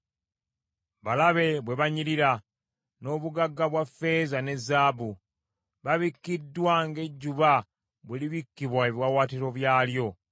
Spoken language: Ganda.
Balabe bwe banyirira n’obugagga bwa ffeeza ne zaabu! Babikkiddwa ng’ejjuba bwe libikkibwa ebiwaawaatiro byalyo.”